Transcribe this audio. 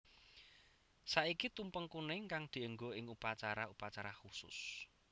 Saiki tumpeng kuning kang dienggo ing upacara upacara khusus